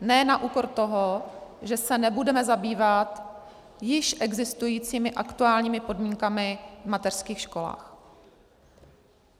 Ne na úkor toho, že se nebudeme zabývat již existujícími aktuálními podmínkami v mateřských školách.